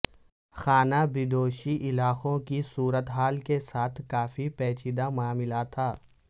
خانہ بدوش علاقوں کی صورت حال کے ساتھ کافی پیچیدہ معاملہ تھا